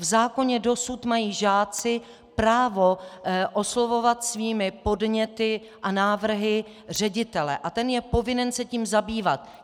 V zákoně dosud mají žáci právo oslovovat svými podněty a návrhy ředitele a ten je povinen se tím zabývat.